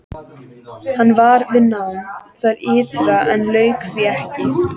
Hann var við nám þar ytra en lauk því ekki.